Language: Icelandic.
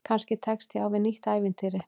Kannski tekst ég á við nýtt ævintýri.